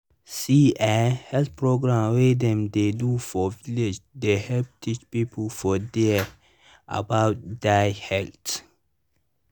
see eh health programs wey dem dey do for village dey help teach people for dere about dia health.